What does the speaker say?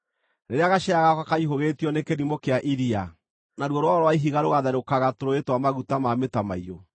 rĩrĩa gacĩra gakwa kaihũgĩtio nĩ kĩrimũ kĩa iria, naruo rwaro rwa ihiga rũgaatherũkagĩra tũrũũĩ twa maguta ma mũtamaiyũ!